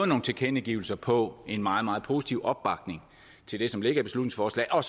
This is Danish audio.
nogle tilkendegivelser på en meget meget positive opbakning til det som ligger i beslutningsforslaget og